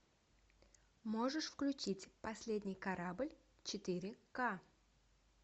можешь включить последний корабль четыре ка